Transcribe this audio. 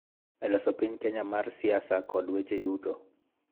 E loso piny Kenya mar siasa kod weche yuto.